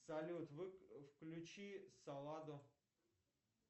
салют включи саладо